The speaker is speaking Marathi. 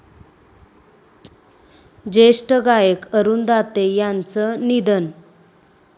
ज्येष्ठ गायक अरूण दाते यांचं निधन